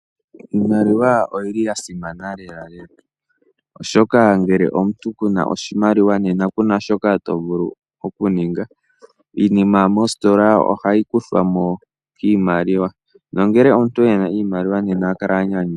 Iimaliwa oyi li ya simana lelalela oshoka ngele omuntu ku na oshimaliwa nena ku na shoka to vulu okuninga. Iinima moositola ohayi kuthwa mo kiimaliwa, no ngele omuntu ena iimaliwa nena oha kala a nyanyukwa.